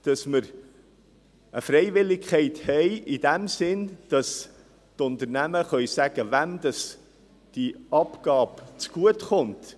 Uns ist wichtig, dass wir eine Freiwilligkeit haben in dem Sinne, dass die Unternehmen bestimmen dürfen, wem diese Abgabe zugutekommt.